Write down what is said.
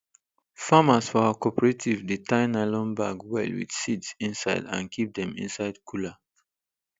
farmers for our cooperative dey tie nylon bag well with seeds inside and keep dem inside cooler